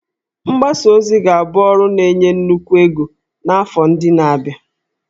Mgbasa ozi ga-abụ ọrụ na-enye nnukwu ego n'afọ ndị na-abịa